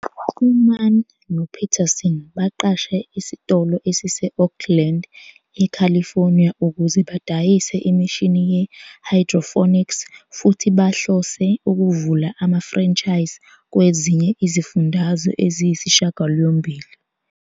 UMann noPeterson baqashe isitolo esise- Oakland, eCalifornia ukuze badayise imishini ye-hydroponics, futhi bahlose ukuvula ama-franchise kwezinye izifundazwe eziyisishiyagalombili.